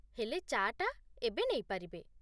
ହେଲେ, ଚା'ଟା ଏବେ ନେଇ ପାରିବେ ।